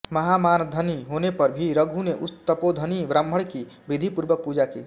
महामानधनी होने पर भी रघु ने उस तपोधनी ब्राह्मण की विधिपूर्वक पूजा की